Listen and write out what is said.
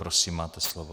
Prosím, máte slovo.